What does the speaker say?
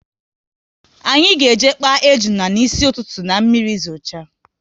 Anyị ga eje kpaa ejuna n'isi ụtụtụ, na mmiri zocha